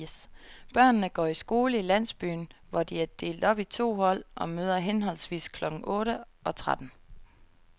Børnene går i skole i landsbyen, hvor de er delt op i to hold og møder henholdsvis klokken otte og tretten.